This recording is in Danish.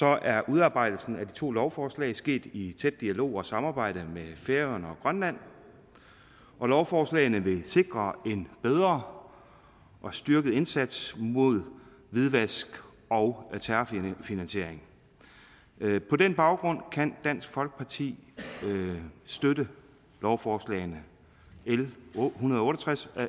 er udarbejdelsen af de to lovforslag sket i tæt dialog og samarbejde med færøerne og grønland og lovforslagene vil sikre en bedre og styrket indsats mod hvidvask og terrorfinansiering på den baggrund kan dansk folkeparti støtte lovforslagene l en hundrede og otte og tres og